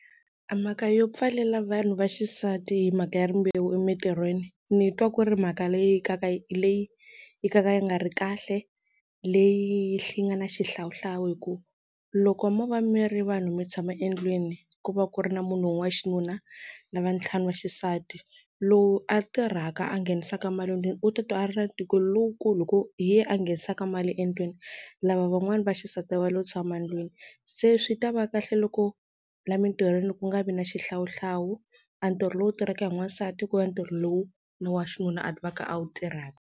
A mhaka yo pfalela vanhu va xisati hi mhaka ya rimbewu emintirhweni ni twa ku ri mhaka leyi ka ka leyi ka ka yi nga ri kahle leyi yi nga na xihlawuhlawu hi ku loko mo va mi ri vanhu mi tshama endlwini ku va ku ri na munhu wa xinuna na va ntlhanu va xisati lowu a tirhaka a nghenisaka mali endlwini u titwa a ri na ntikelo lowukulu hi ku hi ye a nghenisaka mali endlwini, lava van'wana va xisati va lo tshama endlwini se swi ta va kahle loko la mintirhweni ku nga vi na xihlawuhlawu, a ntirho lowu tirhaka hi n'wansati ku va ntirho lowu ni wa xinuna a va ka a wu tirhaka.